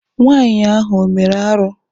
Nwaanyị ahụ o mere arụ?